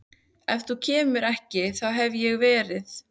Ef þú kemur ekki þá hef ég verið